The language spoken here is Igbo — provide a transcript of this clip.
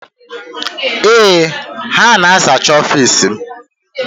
Ee, ha na-azacha ọfiisi m.